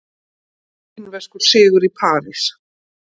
Kínverskur sigur í París